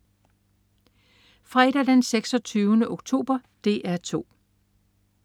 Fredag den 26. oktober - DR 2: